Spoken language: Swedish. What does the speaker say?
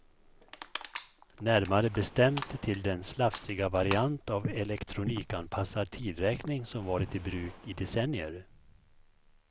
Närmare bestämt till den slafsiga variant av elektronikanpassad tidräkning som varit i bruk i decennier.